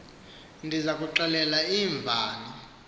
ndiza kuxel iinvani